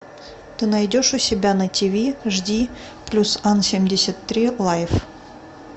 ты найдешь у себя на тв жди плюс ан семьдесят три лайф